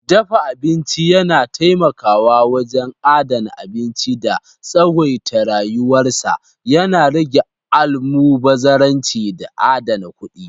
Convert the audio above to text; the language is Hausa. Dafa abinci yana taimakawa wajen adana abinci da tsawaita rayuwar sa, yana rage almubazzaranci da adana kuɗi.